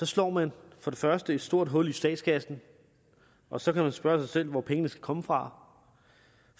slår man for det første et stort hul i statskassen og så kan man spørge sig selv hvor pengene skal komme fra